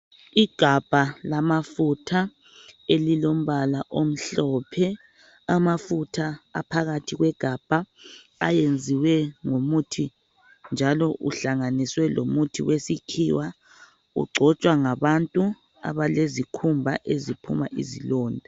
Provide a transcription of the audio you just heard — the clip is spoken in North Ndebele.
Igabha lamafutha elilombala omhlophe, amafutha aphakathi ayenziwe ngomuthi njalo uhlanganiswe lomuthi wesikhiwa ogcotshwa ngabantu abalezikhumba eziphuma izilonda